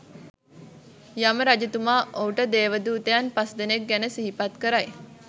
යම රජතුමා ඔහුට දේවදූතයන් පස්දෙනෙක් ගැන සිහිපත් කරයි.